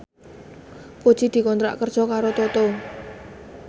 Puji dikontrak kerja karo Toto